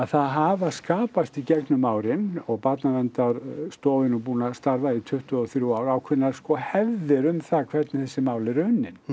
það hafa skapast í gegnum árin og Barnaverndarstofa er nú búin að starfa í tuttugu og þrjú ár ákveðnar sko hefðir um það hvernig þessi mál eru unnin